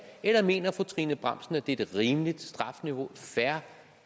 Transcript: eller mener fru trine bramsen at det er et rimeligt strafniveau et fair